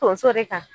Tonso de kan